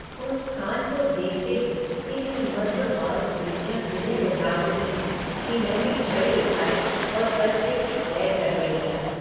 उस स्थान को देखते ही इतनी मधुर बालस्मृतियाँ हृदय में जाग उठीं कि मैंने छड़ी उठाई और कस्बे की सैर करने निकला।